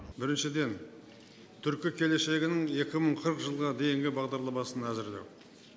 біріншіден түркі келешегінің екі мың қырық жылға дейінгі бағдарламасын әзірлеу